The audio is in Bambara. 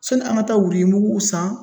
Sɔni an ka taa wuruyi mukuw san